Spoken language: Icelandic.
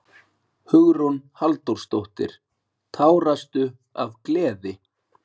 Hugrún Halldórsdóttir: Tárastu af gleði?